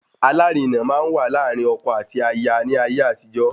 Alárinà máa n wa láàrin ọkọ àti aya ní ayé àtijó